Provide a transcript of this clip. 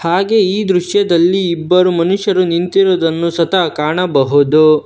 ಹಾಗೆ ಈ ದೃಶ್ಯದಲ್ಲಿ ಇಬ್ಬರು ಮನುಷ್ಯರು ನಿಂತಿರುವುದನ್ನು ಸ್ವತಃ ಕಾಣಬಹುದು.